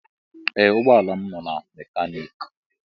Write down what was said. Ee ụgbọ ala m nọ na mekaniki.